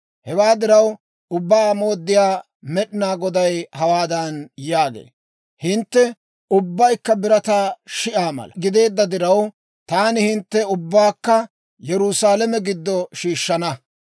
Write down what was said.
Hewaa diraw, Ubbaa Mooddiyaa Med'inaa Goday hawaadan yaagee; ‹Hintte ubbaykka birataa shi'aa mala gideedda diraw, taani hinttena ubbaakka Yerusaalame giddo shiishshana.